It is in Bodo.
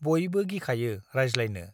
बयबो गिखायो रायज्लायनो ।